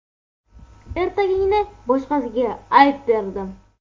Ertagingni boshqasiga ayt derdim.